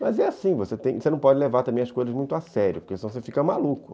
Mas é assim, você não pode levar também as coisas muito a sério, porque senão você fica maluco.